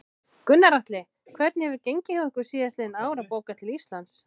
Gunnar Atli: Hvernig hefur gengið hjá ykkur síðastliðin ár að bóka til Íslands?